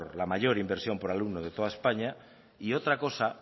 la mayor inversión por alumno de toda españa y otra cosa